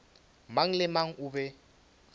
mang le mang o be